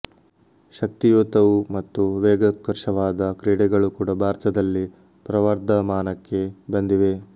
ಶಕ್ತಿಯುತವೂ ಮತ್ತು ವೇಗೋತ್ಕರ್ಷವಾದ ಕ್ರೀಡೆಗಳೂ ಕೂಡ ಭಾರತದಲ್ಲಿ ಪ್ರವರ್ಧಮಾನಕ್ಕೆ ಬಂದಿವೆ